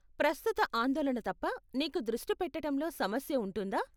ప్రస్తుత ఆందోళన తప్ప, నీకు దృష్టి పెట్టటంలో సమస్య ఉంటుందా?